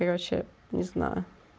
и вообще не знаю